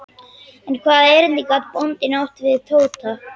En hvaða erindi gat bóndinn átt við Tóta?